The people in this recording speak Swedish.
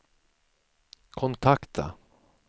kontakta